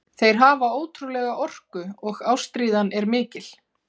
Þeir hafa ótrúlega orku og ástríðan er mikil.